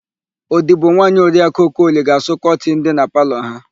Odibonwaanyị Oriakụ Okoli ga-asụ kọtịnụ dị na palọ ha.